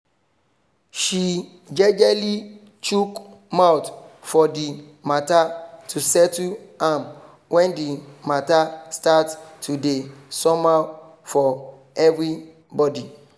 she jejely chook mouth for the mata to settle am when the mata start to dey somehow for everybody